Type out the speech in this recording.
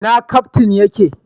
Ina Kaftin ya ke?